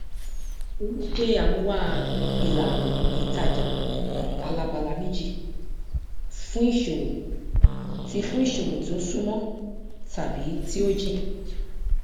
èyí ṣe àmúwá ìlànà ìtajà alábala méjì fún ìṣòwò tí fún ìṣòwò tí ó súnmọ tàbí tí ó jìn